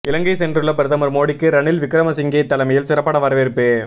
இலங்கை சென்றுள்ள பிரதமர் மோடிக்கு ரணில் விக்ரமசிங்கே தலைமையில் சிறப்பான வரவேற்பு